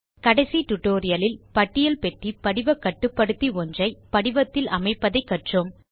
கடைசி tutorialலில் பட்டியல் பெட்டி படிவ கட்டுப்படுத்தி ஒன்றை படிவத்தில் அமைப்பதை கற்றோம்